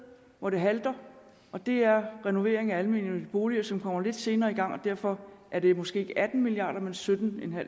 hvor det halter og det er renovering af almennyttige boliger som kommer lidt senere i gang og derfor er det måske ikke atten milliard kr men sytten